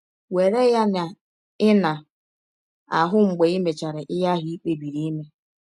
Were ya na ị na - ahụ mgbe i mechara ihe ahụ i kpebiri ime.